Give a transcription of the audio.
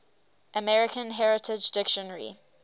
american heritage dictionary